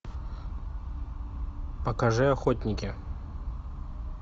покажи охотники